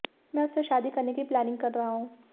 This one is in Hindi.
मैं उससे शादी करने की प्लानिंग कर रहा हूं